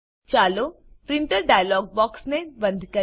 ચાલો printer dialog બોક્સને બંધ કરીએ